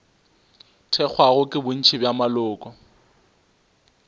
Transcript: thekgwago ke bontši bja maloko